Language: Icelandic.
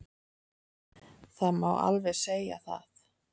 Það má alveg segja það.